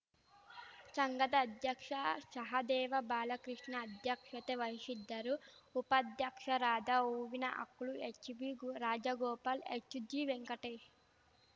ಶಂಘದ ಅಧ್ಯಕ್ಷ ಶಹದೇವ ಬಾಲಕೃಷ್ಣ ಅಧ್ಯಕ್ಷತೆ ವಹಿಶಿದ್ದರು ಉಪಾಧ್ಯಕ್ಷರಾದ ಹೂವಿನಹಕ್ಲು ಎಚ್‌ಬಿರಾಜಗೋಪಾಲ್‌ ಎಚ್‌ಜಿವೆಂಕಟೇಶ್‌